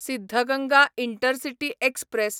Siddaganga intercity express